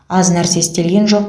аз нәрсе істелген жоқ